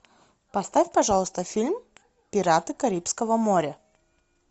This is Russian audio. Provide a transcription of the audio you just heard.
поставь пожалуйста фильм пираты карибского моря